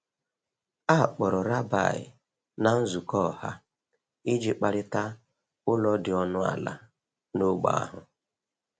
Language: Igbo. A kpọrọ rabbi na nzukọ ọha iji kparịta ụlọ dị ọnụ ala n’ógbè ahụ.